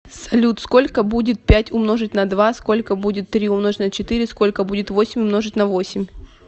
салют сколько будет пять умножить на два сколько будет три умножить на четыре сколько будет восемь умножить на восемь